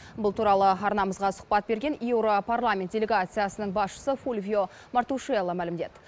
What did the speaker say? бұл туралы арнамызға сұхбат берген еуропарламент делегациясының басшысы фульвио мартушиелло мәлімдеді